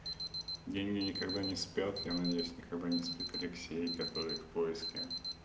деньги никогда не спят я надеюсь никогда не спит алексей который в поиске